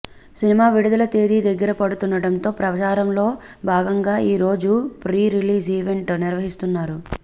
cinema విడుదల తేదీ దగ్గర పడుతుండటంతో ప్రచారంలో భాగంగా ఈ రోజు ప్రీ రిలీజ్ ఈవెంట్ నిర్వహిస్తున్నారు